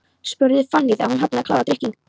spurði Fanný þegar hún hafði klárað drykkinn.